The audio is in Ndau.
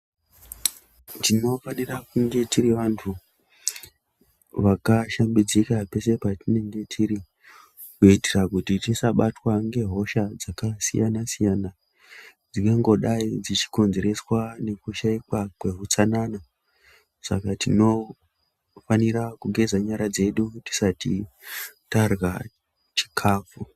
Tinofanira kunge tiri vantu vakashambidzika peshe patinenga tiri kuitira kuti tisabatwa ngehosha dzakasiyana siyana dzingangodai dzeikonzereswa nekushaikwa kwehutsanana. Saka tinofanira kugeza nyara dzedu tisati tarya chikafu.